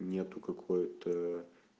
нету какой-то